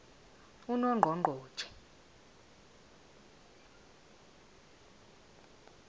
unongqongqotjhe